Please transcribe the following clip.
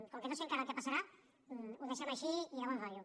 com que no sé encara el que passarà ho deixem així i de bon rotllo